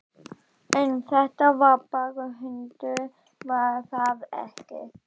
En þetta var bara hundur, var það ekki?